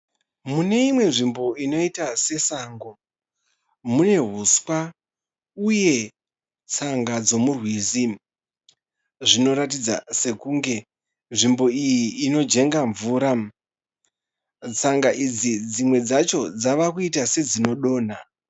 Mune imwe nzvimbo inoita sesango. Mune huswa uye tsanga dzomurwizi. Zvinoratidza sekunge nzvimbo iyi inojenga mvura. Tsanga idzi dzimwe dzacho dzava kuita sedzinodonha.